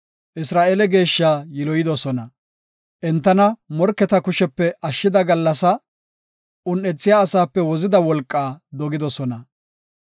Entana morketa kushepe ashshida gallasaa, un7ethiya asaape wozida wolqaa dogidosona.